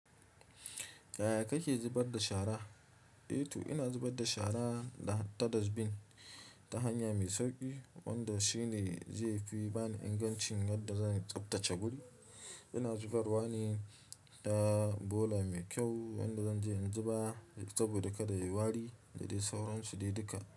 Yaya kake zubar da shara? Eh to ina zubar da shara da har ta dustbin ta hanya mai sauƙi wanda shi ne zai fi bani ingancin yadda zan tsabtace guri. Ina zubar wa ne da bola mai kyau wanda zan je in zuba saboda kada ya wari da dai sauransu dai duka.